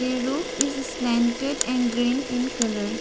a roof is slanted and green in colour.